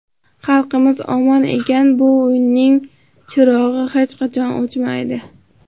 Xalqimiz omon ekan, bu uyning chirog‘i hech qachon o‘chmaydi.